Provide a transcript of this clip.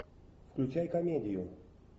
включай комедию